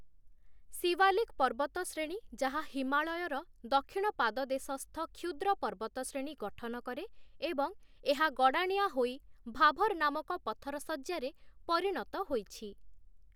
ଶିୱାଲିକ୍‌ ପର୍ବତଶ୍ରେଣୀ, ଯାହା ହିମାଳୟର ଦକ୍ଷିଣ ପାଦଦେଶସ୍ଥ କ୍ଷୁଦ୍ର ପର୍ବତଶ୍ରେଣୀ ଗଠନ କରେ ଏବଂ ଏହା ଗଡ଼ାଣିଆ ହୋଇ ଭାଭର୍‌ ନାମକ ପଥର ଶଯ୍ୟାରେ ପରିଣତ ହୋଇଛି ।